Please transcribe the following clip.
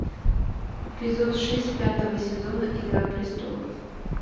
эпизод шесть пятого сезона игра престолов